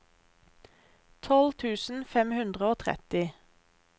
tolv tusen fem hundre og tretti